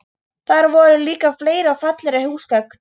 Þar voru líka fleiri og fallegri húsgögn.